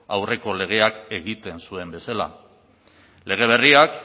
aurreko legeak egiten zuen bezala lege berriak